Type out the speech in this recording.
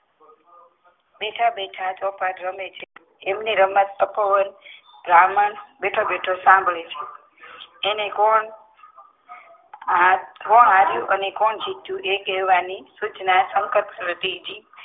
બેઠા બેઠા રમે છે. એમની રમત બ્રાહ્મણ બેઠો બેઠો સંભાડે છે. અને કોણ આ કોણ હાર્યું ને કોણ જીતીયું એ કેહવાની સૂચના શંકર પાર્વતીજી